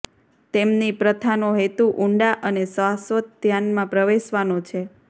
તેમની પ્રથાનો હેતુ ઊંડા અને શાશ્વત ધ્યાનમાં પ્રવેશવાનો છે